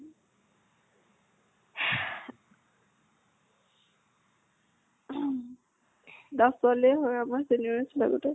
ছোৱালীয়ে হয় আমাৰ senior ছোৱালী টো।